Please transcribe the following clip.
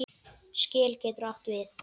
Skel getur átt við